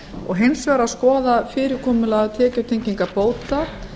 og hins vegar skoða fyrirkomulag tekjutengingar bóta